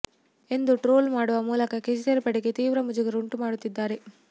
ಎಂದು ಟ್ರೋಲ್ ಮಾಡುವ ಮೂಲಕ ಕೇಸರಿ ಪಡೆಗೆ ತೀವ್ರ ಮುಜುಗರ ಉಂಟು ಮಾಡುತ್ತಿದ್ದಾರೆ